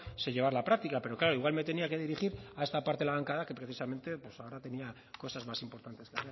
se llevara a la práctica pero claro igual me tenía que dirigir a esta parte de la bancada que precisamente ahora tenía cosas más importantes